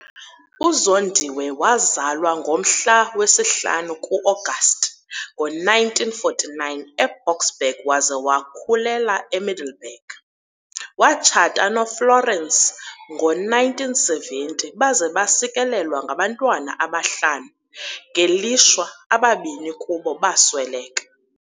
UZondiwe wazalwa ngomhla we-5 kuAgasti ngo-1949 eBoksburg waze wakhulela eMiddelburg. Watshata noFlorence ngo-1970 baze basikelelwa ngabantwana abahlanu, ngelishwa ababini kubo basweleka.